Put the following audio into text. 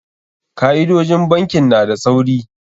Ka'idojin bankin na da tsauri.